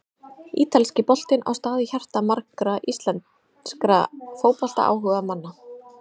Ítalski boltinn á stað í hjarta margra íslenskra fótboltaáhugamanna.